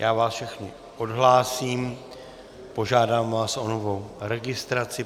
Já vás všechny odhlásím, požádám vás o novou registraci.